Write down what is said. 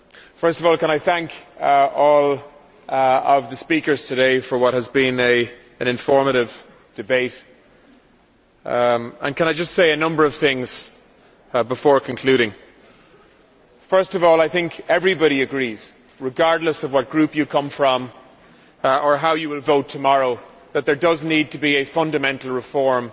First of all, can I thank all of the speakers today for what has been an informative debate, and can I just say a number of things before concluding? I think everybody agrees, regardless of what group you come from or how you will vote tomorrow, that there does need to be a fundamental reform